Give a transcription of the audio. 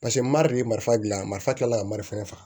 Paseke mari ye marifa dilan marifa tilala ka marifa